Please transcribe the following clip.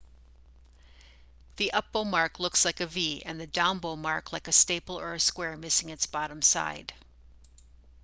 the up bow mark looks like a v and the down bow mark like a staple or a square missing its bottom side